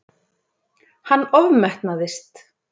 Hann ofmetnaðist.